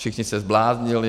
Všichni se zbláznili.